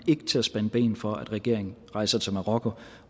til at spænde ben for at regeringen rejser til marokko